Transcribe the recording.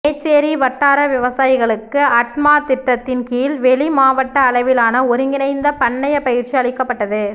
மேச்சேரி வட்டார விவசாயிகளுக்கு அட்மா திட்டத்தின் கீழ் வெளி மாவட்ட அளவிலான ஒருங்கிணைந்த பண்ணைய பயிற்சி அளிக்கப்பட்டது